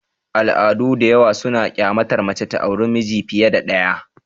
Al'adu da yawa suna kyamatar mace ta aure namiji fiye da ɗaya.